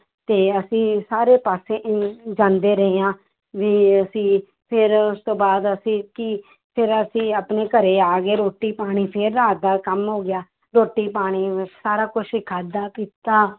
ਤੇ ਅਸੀਂ ਸਾਰੇ ਪਾਸੇ ਜਾਂਦੇ ਰਹੇ ਹਾਂ ਵੀ ਅਸੀਂ ਫਿਰ ਉਸ ਤੋਂ ਬਾਅਦ ਅਸੀਂ ਕਿ ਫਿਰ ਅਸੀਂ ਆਪਣੇ ਘਰੇ ਆ ਗਏ ਰੋਟੀ ਪਾਣੀ ਫਿਰ ਰਾਤ ਦਾ ਕੰਮ ਹੋ ਗਿਆ ਰੋਟੀ ਪਾਣੀ ਸਾਰਾ ਕੁਛ ਹੀ ਖਾਧਾ ਪੀਤਾ